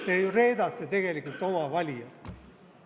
Te ju reedate tegelikult oma valijaid.